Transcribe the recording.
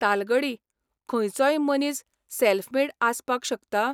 तालगडी खंयचोय मनीस self made आसपाक शकता?